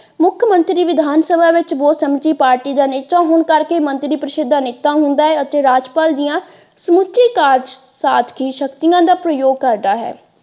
ਮੁੱਖਮੰਤਰੀ ਵਿਧਾਨ ਸਭਾ ਵਿੱਚ ਬਹੁ ਸਮਿਤੀ ਪਾਰਟੀ ਦਾ ਨੇਤਾ ਹੋਣ ਕਰਕੇ ਮੰਤਰੀ ਪਰਿਸ਼ਦ ਦਾ ਨੇਤਾ ਹੁੰਦਾ ਹੈ। ਅਤੇ ਰਾਜਪਾਲ ਦੀਆਂ ਸਮੁੱਚੀ ਕਾਰਜ ਸਾਧਕ ਸ਼ਕਤੀਆਂ ਦਾ ਪ੍ਰਯੋਗ ਕਰਦਾ ਹੈ।